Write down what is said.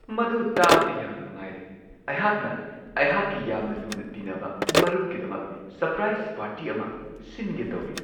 ꯃꯗꯨ ꯇꯥꯕꯗ ꯌꯥꯝꯅ ꯅꯨꯡꯉꯥꯏꯔꯦ ! ꯑꯩꯍꯥꯛꯅ ꯑꯩꯍꯥꯛꯀꯤ ꯌꯥꯝꯅ ꯂꯨꯅ ꯇꯤꯟꯅꯕ ꯃꯔꯨꯞꯀꯤꯗꯃꯛ ꯁꯔꯄ꯭ꯔꯥꯏꯖ ꯄꯥꯔꯇꯤ ꯑꯃ ꯁꯤꯟꯒꯦ ꯇꯧꯔꯤ ꯫